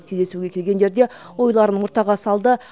кездесуге келгендер де ойларын ортаға салды